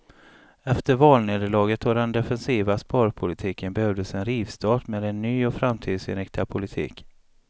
Efter valnederlaget och den defensiva sparpolitiken behövdes en rivstart med en ny och framtidsinriktad politik.